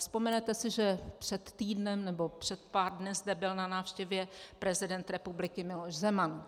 Vzpomenete si, že před týdnem nebo před pár dny zde byl na návštěvě prezident republiky Miloš Zeman.